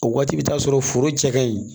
O waati bɛ taa sɔrɔ foro cɛ ka ɲi